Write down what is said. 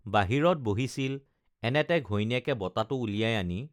বাহিৰত বহিছিল এনেতে ঘৈণীয়েকে বঁটাটো উলিয়াই আনি